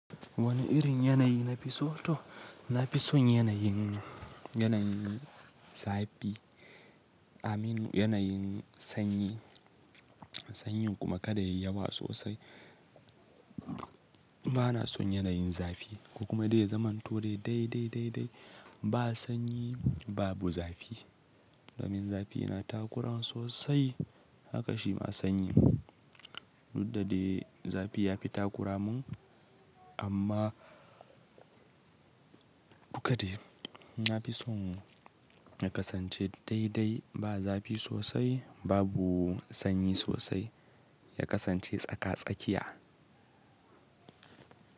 Wane irin yanayi nafi so to? Nafi son yanayin, yanayin zafi. I lmean yanayin sanyi, sanyi kuma kada yayi yawa sosai. Bana son yanayin zafi. Ko kuma dai zamanto dai dai dai dai, ba sanyi babu zafi. Domin zafi yana takura sosai haka shi ma sanyi. Dak da dai zafi yafi takura mun amma duk da shi nafi son ya kasance dai dai ba zafi sosai babu sanyi sosai, ya kasance tsaka-tsakiya.